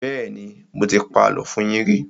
Bẹ́ẹ́nì, mo ti pa àlọ́ fún yín rí.